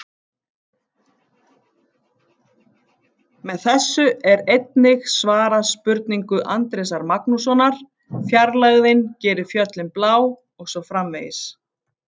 Með þessu er einnig svarað spurningu Andrésar Magnússonar: Fjarlægðin gerir fjöllin blá og svo framvegis.